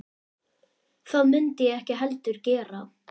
Það mundi ég ekki heldur gera